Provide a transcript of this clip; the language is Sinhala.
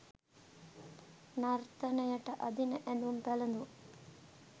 නර්තනයට අඳින ඇඳුම් පැළඳුම්